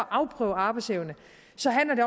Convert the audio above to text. afprøve arbejdsevne